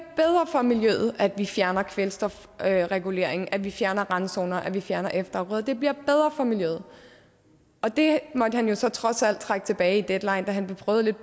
for miljøet at vi fjerner kvælstofreguleringen at vi fjerner randzoner at vi fjerner efterafgrøder det bliver bedre for miljøet det måtte han jo så trods alt trække tilbage i deadline da han blev prøvet lidt